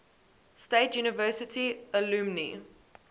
state university alumni